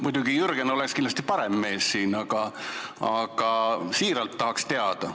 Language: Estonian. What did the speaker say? Muidugi Jürgen oleks kindlasti parem mees sellele vastama, aga tõesti tahaks teada.